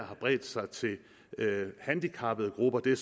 har bredt sig til handicappede grupper det